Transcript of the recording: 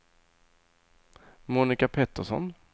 Monica Petersson